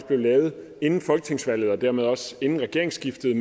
blev lavet inden folketingsvalget og dermed også inden regeringsskiftet